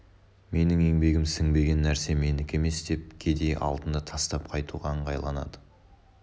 менің еңбегім сіңбеген нәрсе менікі емес деп кедей алтынды тастап қайтуға ыңғайланады